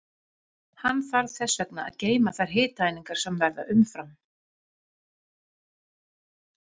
Hann þarf þess vegna að geyma þær hitaeiningar sem verða umfram.